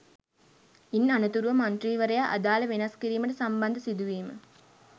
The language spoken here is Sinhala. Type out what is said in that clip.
ඉන් අනතුරුව මන්ත්‍රීවරයා අදාළ වෙනස් කිරීමට සම්බන්ධ සිදුවීම